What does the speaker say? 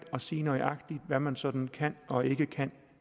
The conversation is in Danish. at sige nøjagtig hvad man sådan konkret kan og ikke kan